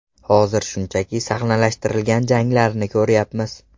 Hozir shunchaki sahnalashtirilgan janglarni ko‘ryapmiz.